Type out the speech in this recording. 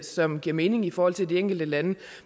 som giver mening i forhold til de enkelte lande